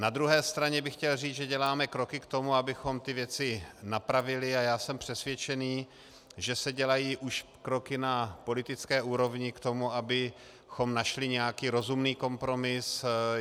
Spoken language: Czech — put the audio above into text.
Na druhé straně bych chtěl říct, že děláme kroky k tomu, abychom ty věci napravili, a já jsem přesvědčený, že se dělají už kroky na politické úrovni k tomu, abychom našli nějaký rozumný kompromis.